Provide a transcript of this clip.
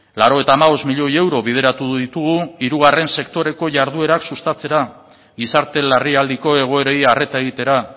laurogeita hamabost milioi euro bideratu ditugu hirugarren sektoreko jarduerak sustatzera gizarte larrialdiko egoerei arreta egitera